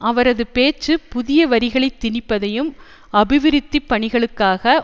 அவரது பேச்சு புதிய வரிகளைத் திணிப்பதையும் அபிவிருத்திப் பணிகளுக்காக